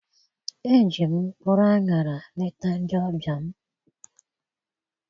Eji m mkpụrụ aṅara leta ndị ọbịa m.